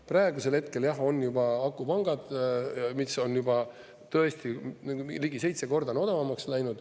Praegusel hetkel jah on juba akupangad, mis on juba tõesti ligi seitse korda odavamaks läinud.